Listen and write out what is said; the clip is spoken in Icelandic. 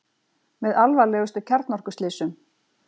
Með alvarlegustu kjarnorkuslysum